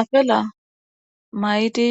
afela maydi